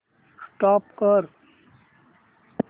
stop करा